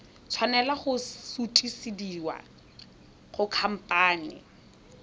tshwanela go sutisediwa go khamphane